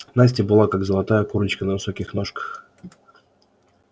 настя была как золотая курочка на высоких ножках